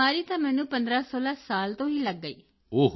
ਬਿਮਾਰੀ ਤਾਂ ਮੈਨੂੰ 1516 ਸਾਲ ਤੋਂ ਹੀ ਲਗ ਗਈ